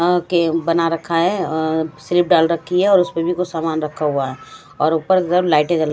आके बना रखा है अ सिरिफ डाल रखी है और उसमें भी कुछ सामान रखा हुआ है और ऊपर सब लाइटे जल--